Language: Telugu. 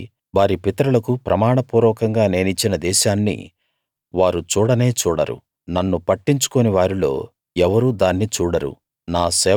కాబట్టి వారి పితరులకు ప్రమాణ పూర్వకంగా నేనిచ్చిన దేశాన్ని వారు చూడనే చూడరు నన్ను పట్టించుకోని వారిలో ఎవరూ దాన్ని చూడరు